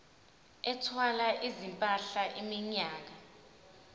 ethwala izimpahla iminyaka